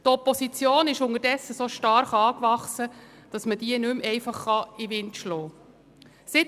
Die Opposition ist unterdessen so stark angewachsen, dass man sie nicht einfach in den Wind schlagen kann.